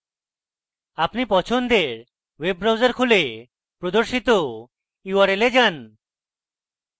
আমাদের পছন্দের web browser খুলে প্রদর্শিত url এ যান